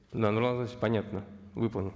да нурлан зайроллаевич понятно выполним